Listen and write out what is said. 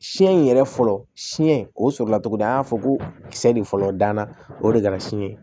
Siɲɛ in yɛrɛ fɔlɔ siɲɛ o sɔrɔla cogo di an y'a fɔ ko kisɛ de fɔlɔ danna o de kɛra siɲɛ